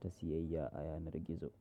ta siyayya a yanar gizo.